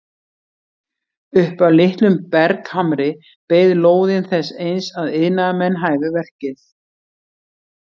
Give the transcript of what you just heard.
Upp af litlum berghamri beið lóðin þess eins að iðnaðarmenn hæfu verkið.